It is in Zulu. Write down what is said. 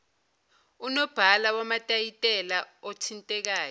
unobhala wamatayitela othintekayo